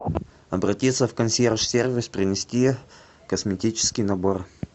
обратиться в консьерж сервис принести косметический набор